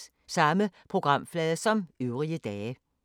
Samme programflade som øvrige dage